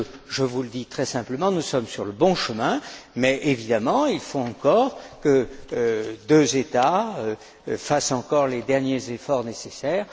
Je vous le dis très simplement, nous sommes sur le bon chemin, mais évidemment, il faut que deux États fassent encore les derniers efforts nécessaires.